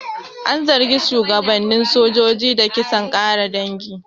An zargi shugabannin sojojin da kisan ƙare dangi.